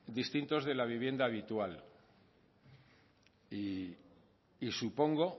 distintos de la vivienda habitual y supongo